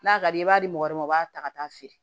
N'a ka di ye i b'a di mɔgɔ wɛrɛ ma u b'a ta ka taa feere